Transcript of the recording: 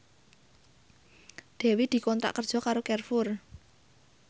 Dewi dikontrak kerja karo Carrefour